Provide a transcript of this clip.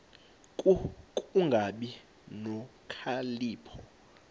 ku kungabi nokhalipho